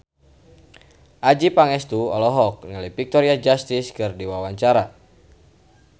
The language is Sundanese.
Adjie Pangestu olohok ningali Victoria Justice keur diwawancara